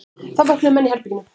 Þá vöknuðu menn í herberginu.